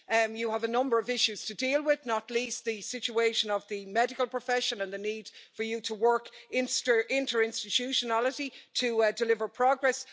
You have a number of issues to deal with, not least the situation of the medical profession and the need for you to work inter institutionally to deliver progress.